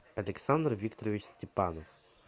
александр викторович степанов